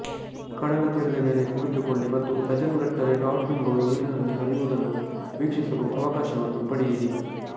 ಕಡಲತೀರದ ಮೇಲೆ ಕುಳಿತುಕೊಳ್ಳಿ ಮತ್ತು ಡಜನ್ಗಟ್ಟಲೆ ಡಾಲ್ಫಿನ್ಗಳು ನೀರಿನಲ್ಲಿ ಹರಿಯುವುದನ್ನು ವೀಕ್ಷಿಸಲು ಅವಕಾಶವನ್ನು ಪಡೆಯಿರಿ